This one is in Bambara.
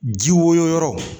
Ji woyo yɔrɔ